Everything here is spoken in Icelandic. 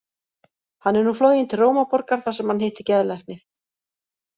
Hann er nú floginn til Rómarborgar þar sem hann hittir geðlækni.